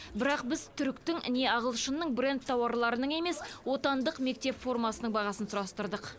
бірақ біз түріктің не ағылшынның брэнд тауарларының емес отандық мектеп формасының бағасын сұрастырдық